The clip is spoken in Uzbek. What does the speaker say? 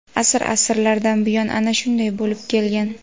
Asr-asrlardan buyon ana shunday bo‘lib kelgan.